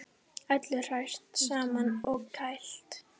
Öllu hrært saman og kælt